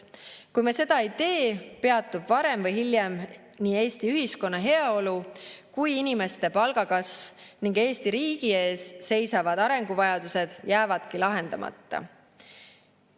Kui me seda ei tee, peatub varem või hiljem nii Eesti ühiskonna heaolu kui inimeste palgakasv ning Eesti riigi ees seisvad arenguvajadused jäävadki lahendamata.